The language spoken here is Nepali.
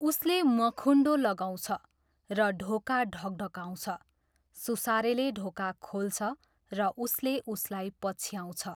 उसले मखुन्डो लगाउँछ र ढोका ढकढकाउँछ, सुसारेले ढोका खोल्छ र उसले उसलाई पछ्याउँछ।